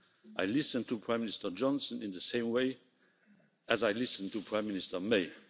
I listened to Prime Minister Johnson in the same way as I listened to Prime Minister May.